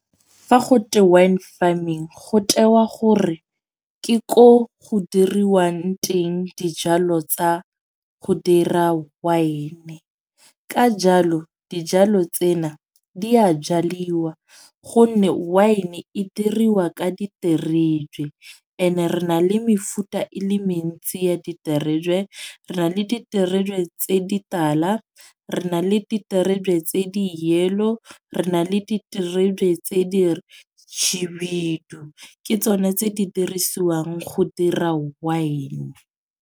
Fa go twe wine farming go tewa gore ke ko go diriwang teng dijalo tsa go dira wine. Ka jalo dijalo tsena di a jaliwa. Gonne wine e diriwa ka diterebe, ene re na le mefuta e le mentsi ya diterebe. Re na le diterebe tse di tala. Re na le diterebe tse di yellow. Re na le diterebe tse di tšhibidu . Ke tsone tse di dirisiwang go dira wine.